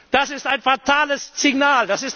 Das ist ein fatales Signal!